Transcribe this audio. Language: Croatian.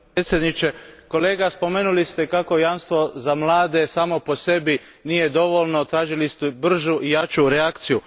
Gospodine predsjedniče. Kolega, spomenuli ste kako jamstvo za mlade samo po sebi nije dovoljno, tražili ste bržu i jaču reakciju.